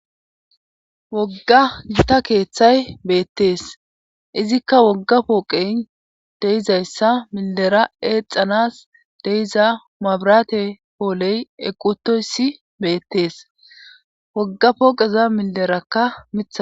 wogga gita keeththay beettees izikka wogga pooqeyn deizayssa mildera eexanas deiza mabraate pooley eqqutoyssi beettees wogga pooqeza milderakka mitha